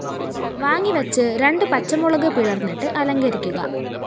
വാങ്ങിവച്ച് രണ്ട് പച്ചമുളക് പിളര്‍ന്നിട്ട് അലങ്കരിക്കുക